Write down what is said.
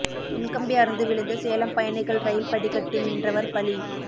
மின்கம்பி அறுந்து விழுந்து சேலம் பயணிகள் ரயில் படிக்கட்டில் நின்றவர் பலி